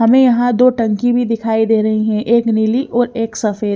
हमे यहाँ दो टंकी भी दिखाई दे रही है एक नीली और एक सफेद।